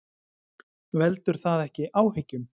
Veldur það ekki áhyggjum?